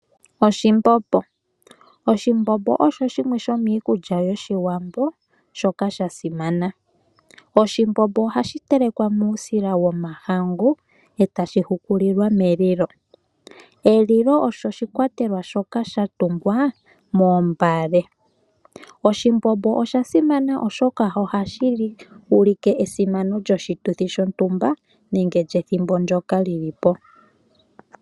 Oshimbombo, oshimbombo osho shimwe shomiikulya yoshiwambo shoka sha simana. Oshimbombo ohashi telekwa muusila womahangu, etashi hukulilwa melilo. Elilo olyo oshikwatelwa shoka sha tungwa moombale. Oshimbombo osha simana oshoka ohashi ulike esimano lyoshituthi shontumba nenge lyethimbo ndjoka lyilipo.